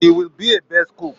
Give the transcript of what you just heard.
She will be a best cook